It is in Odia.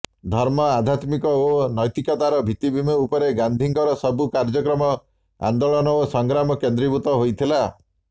ଧର୍ମ ଆଧ୍ୟାତ୍ମିକ ଓ ନୈତିକତାର ଭିତ୍ତିଭୂମି ଉପରେ ଗାନ୍ଧୀଙ୍କର ସବୁ କାର୍ଯ୍ୟକ୍ରମ ଆନ୍ଦୋଳନ ଓ ସଂଗ୍ରାମ କେନ୍ଦ୍ରୀଭୂତ ହୋଇଥିଲା